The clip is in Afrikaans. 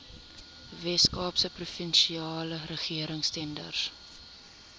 weskaapse provinsiale regeringstenders